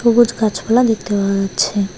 সবুজ গাছপালা দেখতে পাওয়া যাচ্ছে।